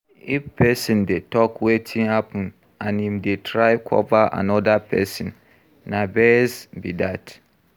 If person dey talk wetin happen and im dey try cover anoda person, na bias be that